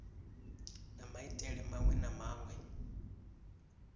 na maitele maṅwe na maṅwe